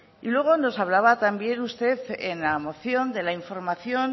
y luego nos hablaba también usted en la moción de la información